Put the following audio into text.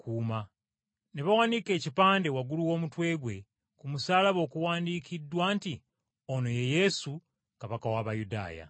Ne bawanika ekipande waggulu w’omutwe gwe ku musaalaba okuwandiikiddwa nti, “Ono ye Yesu, Kabaka w’Abayudaaya.”